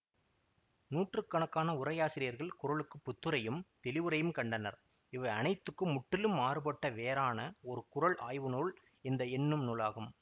நூற்று கணக்கான உரையாசிரியர்கள் குறளுக்குப் புத்துரையும் தெளிவுரையும் கண்டனர் இவை அனைத்துக்கும் முற்றிலும் மாறுபட்ட வேறான ஒரு குறள் ஆய்வு நூல் இந்த என்னும் நூலாகும்